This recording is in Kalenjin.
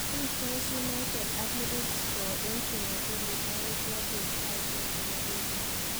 Tuitos United ak Middlesbrough en chumabili sayiit looo beet sayisiek chebo England